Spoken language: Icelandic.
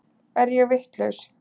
Er ég vitlaus!